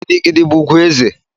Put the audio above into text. Gidi gidi bụ ugwu eze